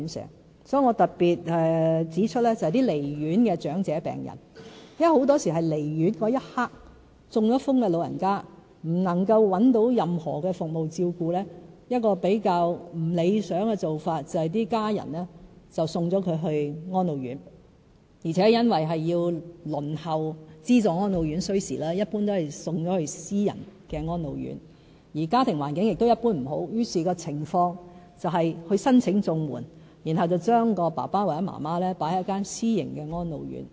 因此，我特別指出一些離院的長者病人，因為很多時候是離院的一刻，中風的長者不能找到任何服務照顧，比較不理想的做法是家人送他們到安老院，而且因為輪候資助安老院需時，一般會把長者先送到私營安老院，而家庭環境一般亦不佳，於是情況便是要申請綜援，然後把爸爸媽媽送到私營安老院。